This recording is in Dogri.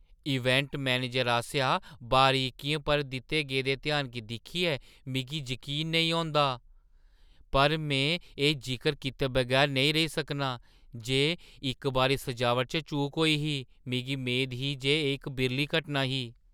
इवेंट मैनेजर आसेआ बरीकियें पर दित्ते गेदे ध्यान गी दिक्खियै मिगी जकीन नेईं औंदा, पर में एह् जिकर कीते बगैर नेईं रेही सकनां जे इक बारी सजावट च चूक होई ही। मिगी मेद ही जे एह् इक बिरली घटना ही।